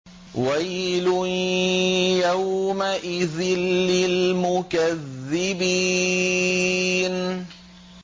وَيْلٌ يَوْمَئِذٍ لِّلْمُكَذِّبِينَ